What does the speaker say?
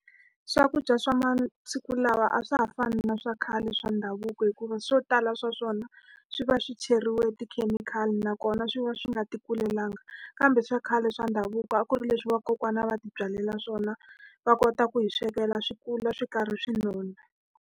Swakudya swa masiku lawa a swa ha fani na swa khale swa ndhavuko hikuva swo tala swa swona, swi va swi cheriwe tikhemikhali. Nakona swi va swi nga ti kulelangi. Kambe swa khale swa ndhavuko, a ku ri leswi vakokwana va ti byalela swona. Va kota ku hi swekela, swi kula swi karhi swi nona.